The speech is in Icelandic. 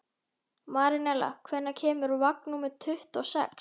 Marinella, hvenær kemur vagn númer tuttugu og sex?